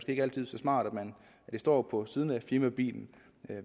ikke altid så smart at det står på siden af firmabilen